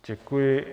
Děkuji.